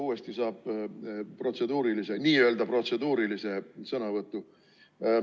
Uuesti saab n-ö protseduurilise sõnavõtu.